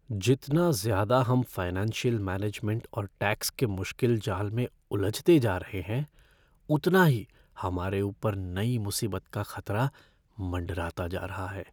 जितना ज़्यादा हम फ़ाइनेंशियल मैनेजमेंट और टैक्स के मुश्किल जाल में उलझते जा रहे हैं, उतना ही हमारे ऊपर नई मुसीबत का खतरा मंडराता जा रहा है।